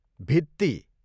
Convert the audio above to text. भित्ती